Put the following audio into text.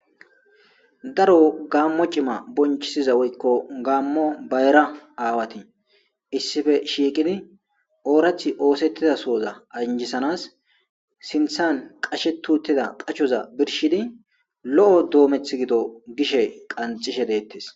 Daro gammo cima bonchisiza woykko gaammo bayra aawati issife shiiqidi oorath oosettida sooza anjisanas sinthan qashe tuutida qachoza birshidi lo7o doometh gido gishe qanxishe deettes.